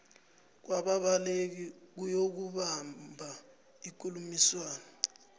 kwababaleki ukuyokubamba ikulumiswano